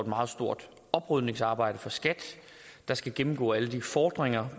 meget stort oprydningsarbejde for skat der skal gennemgå alle de fordringer